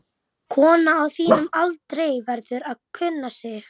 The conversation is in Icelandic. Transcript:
Kona á þínum aldri verður að kunna sig.